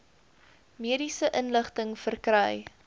mediese inligting verkry